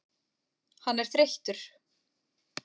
Hann er þreyttur.